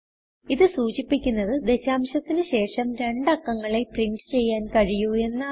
ഇത് സൂചിപ്പിക്കുന്നത് ദശാംശത്തിന് ശേഷം രണ്ട് അക്കങ്ങളെ പ്രിന്റ് ചെയ്യാൻ കഴിയു എന്നാണ്